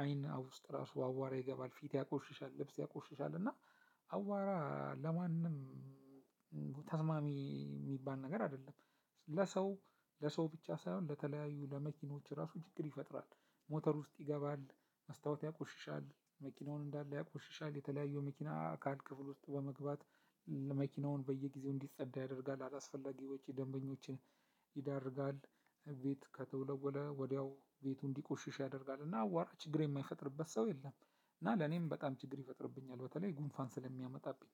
አይን አ ውስጥ ራሱ አዋራ ይገባል፣ ፊት ያቆሽሻል፣ ልብስ ያቆሽሻል እና አዋራ ለማንም ተስማሚ የሚባል ነገር አይደለም። ለሰው ለሰው ብቻ ሳይሆን ለተለያዩ ለመኪኖች ራሱ ችግር ይፈጥራል። ሞተር ውስጥ ይገባል፣ መስታወት ያቆሽሻል፣ መኪናውን እንዳለ ያቆሽሻል፣ የተለያዩ መኪና አካል ክፍል ውስጥ በመግባት መኪናውን በየጊዜው እንዲጸዳ ያደርጋል አላስፈላጊ ወጪ ደንበኞችን ይዳርጋል። ቤት ከተወለወለ ወዲያው ቤቱ እንዲቆሽሽ ያደርጋል እና አዋራ ችግር የማይፈጥርበት ሰው የለም እና ለኔም በጣም ችግር ይፈጥርብኛል በተለይ ጉንፋን ስለሚያመጣብኝ።